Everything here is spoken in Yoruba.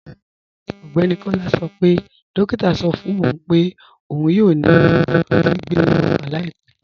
Ọgbẹ́ni Kọla sọ pé dòkìtà sọ fún pé ọún yóò nílò gbìgbé ọkan laipẹ̀.